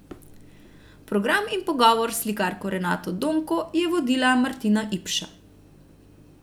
Program in pogovor s slikarko Renato Donko je vodila Martina Ipša.